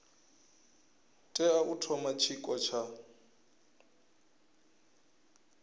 tea u thoma tshiko tsha